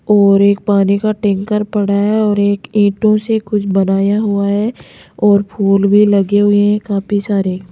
और एक पानी का टैंकर पड़ा है और एक ईंटों से कुछ बनाया हुआ है और फूल भी लगे हुए हैं काफी सारे।